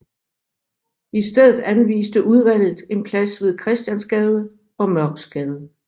I stedet anviste udvalget en plads ved Christiansgade og Mørksgade